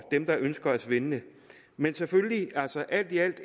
dem der ønsker at svindle men alt i alt